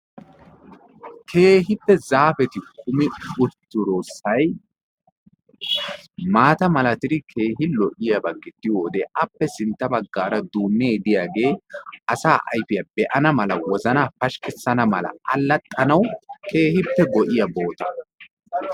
Keehippe zaafeti kumi uttidosayi maata malatidi keehi lo"iyaba gidiyo wode appe sintta baggaara duunnee diyagee asaa ayifiya be"ana mala wozanaa pashkkissana mala allaxxanawu keehippe go"iya boota.